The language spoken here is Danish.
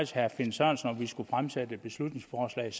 herre finn sørensen om vi sammen skulle fremsætte et beslutningsforslag